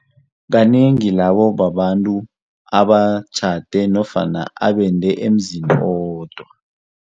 Kanengi labo babantu abatjhade nofana abende emzini owodwa.